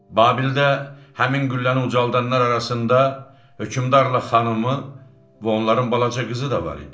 Babildə həmin qülləni ucaldanlar arasında hökmdarla xanımı və onların balaca qızı da var idi.